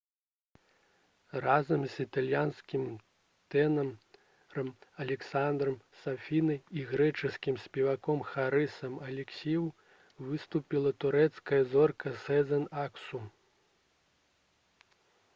разам з італьянскім тэнарам алесандрам сафінай і грэчаскім спеваком харысам алексіёў выступіла турэцкая зорка сэзэн аксу